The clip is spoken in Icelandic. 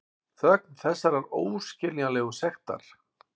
Þögn þessarar óskiljanlegu sektar.